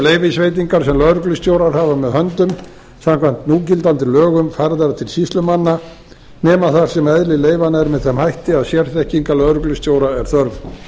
leyfisveitingar sem lögreglustjórar hafa með höndum samkvæmt núgildandi lögum færðar til sýslumanna nema þar sem eðli leyfanna er með þeim hætti að sérþekkingar lögreglustjóranna er þörf